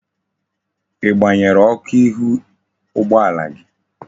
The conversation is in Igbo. Igbanyere Oku ihu ụgbọala gị?